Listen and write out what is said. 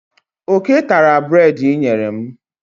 Oké tara breedi inyere mu.